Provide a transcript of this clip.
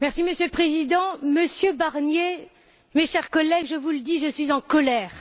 Monsieur le Président, Monsieur Barnier, chers collègues, je vous le dis, je suis en colère.